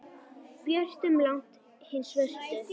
björtum langt hin svörtu.